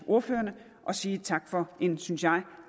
ordførerne og sige tak for en synes jeg